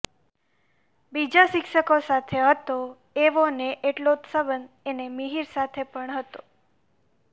બીજા શિક્ષકો સાથે હતો એવો ને એટલો જ સંબંધ એને મિહિર સાથે પણ હતો